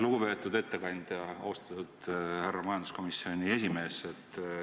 Lugupeetud ettekandja, austatud majanduskomisjoni esimees!